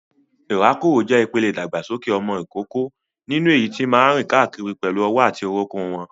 Ìrákòrò jẹ́ ìpele ìdàgbàsókè ọmọ ìkókó nínú èyí tí máa ń rìn káàkiri pẹ̀lú ọwọ́ àti orúnkún wọn.